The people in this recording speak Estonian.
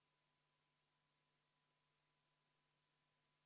Lisaks on, nagu ma mainisin, põhiseaduse järgi ka Vabariigi Presidendil see ettepaneku tegemise õigus.